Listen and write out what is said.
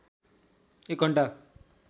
एक घण्टा